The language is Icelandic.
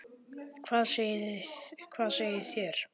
Hvað segið þér?